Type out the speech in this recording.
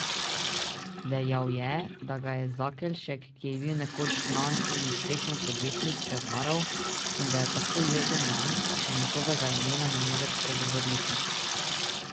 Dejal je, da ga je Zakelšek, ki je bil nekoč znan in uspešen podjetnik, prevaral in da je tako jezen nanj, da še njegovega imena ne more spregovoriti.